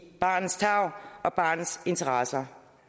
barnets tarv og barnets interesser